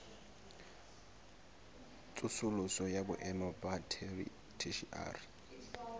tsosoloso ya boemo ba theshiari